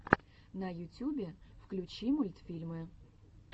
на ютюбе включи мультфильмы